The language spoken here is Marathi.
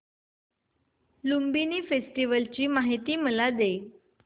लुंबिनी फेस्टिवल ची मला माहिती दे